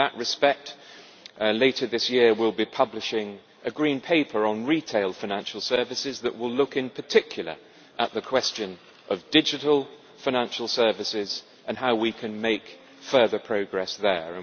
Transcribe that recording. In that respect, later this year we will be publishing a Green Paper on retail financial services that will look, in particular, at the question of digital financial services and how we can make further progress there.